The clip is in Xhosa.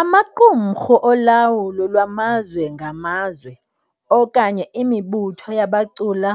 Amaqumrhu olawulo lwamazwe ngamazwe, okanye imibutho yabacula,